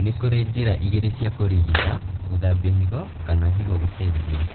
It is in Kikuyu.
Nĩkũrĩ njĩra igĩrĩ cia kũrigita : gũthambio higo kana higo gũcenjio